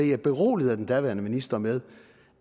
jeg beroliget af den daværende minister med